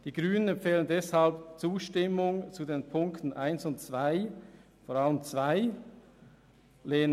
Die Grünen empfehlen deshalb die Zustimmung zu den Punkten 1 und 2, vor allem zum zweiten.